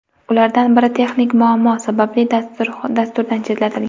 Ulardan biri texnik muammo sababli dasturdan chetlatilgan.